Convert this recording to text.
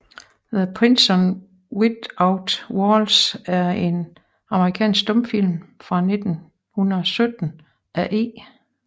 The Prison Without Walls er en amerikansk stumfilm fra 1917 af E